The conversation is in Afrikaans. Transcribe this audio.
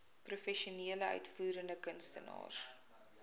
professionele uitvoerende kunstenaars